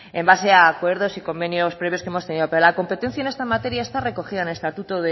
en base a acuerdos y convenios previos que hemos tenido pero la competencia en esta materia está recogida en el estatuto